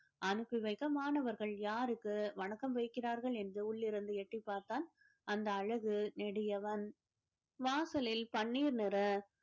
அனுப்பி வைக்க மாணவர்கள் யாருக்கு வணக்கம் வைக்கிறார்கள் என்று உள்ளிருந்து எட்டிப் பார்த்தால் அந்த அழகு நெடியவன் வாசலில் பன்னீர் நிற